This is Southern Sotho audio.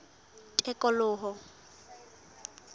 tikoloho